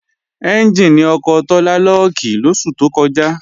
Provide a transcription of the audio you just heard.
Ẹ́njìnì ọkọ̀ Tọ́lá lọ́ọ̀kì lóṣù tó kọjá